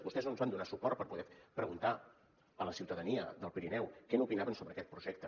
vostès no ens van donar suport per poder preguntar a la ciutadania del pirineu què n’opinaven sobre aquest projecte